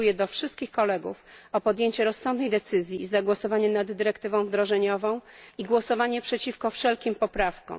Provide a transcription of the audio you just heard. Apeluję do wszystkich Kolegów o podjęcie rozsądnej decyzji i zagłosowanie nad dyrektywą wdrożeniową i głosowanie przeciwko wszelkim poprawkom.